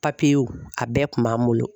a bɛɛ kun b'an bolo.